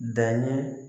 Danni